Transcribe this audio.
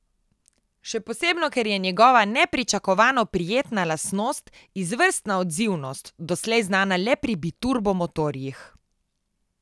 Še posebno ker je njegova nepričakovano prijetna lastnost izvrstna odzivnost, doslej znana le pri biturbo motorjih.